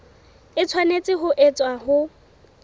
e tshwanetse ho etswa ho